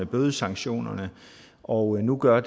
bødesanktionerne og nu gør